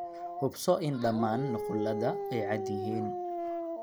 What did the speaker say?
Hubso in dhammaan nuqulada ay cad yihiin.